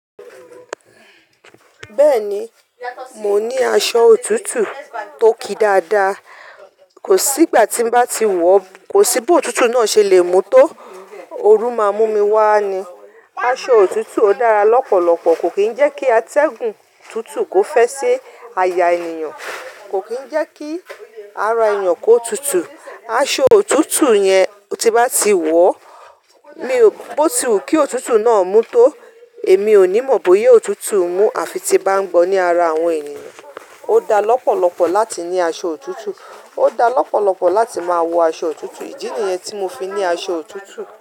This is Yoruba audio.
Bẹ́ẹ̀ni, mo ní aṣọ òtútù tó ki dáadáa. Kò sí ìgbà tí bá ti wọ̀, kò sí bí òtútù náà ṣe le mú tó. Oru máa mú mi wá ni. Aṣọ òtútù ò dára lọ́pọ̀lọpọ̀, kò kí ń jẹ́ kí atẹ́gùn tútù kò fẹ́ ṣi aya ènìyàn, kò kí ń jẹ́ kí ara ènìyàn kó tútù. Aṣọ òtútù yẹn tí bá ti wọ̀, mi ò, bó ti wù kí òtútù náà mú tó. Èmi ò ní mọ̀ bóya òtútù mú àfi tí n bá ń gbọ ní ara àwọn ènìyàn. Ó da lọ́pọ̀lọpọ̀ láti ní aṣọ òtútù, ó da lọ́pọ̀lọpọ̀ láti máa wọ aṣọ òtútù. Ìdí nìyẹn tí mo fi ní aṣọ òtútù.